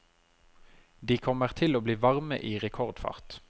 De kommer til å bli varme i rekordfart.